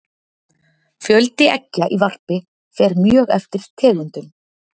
fjöldi eggja í varpi fer mjög eftir tegundum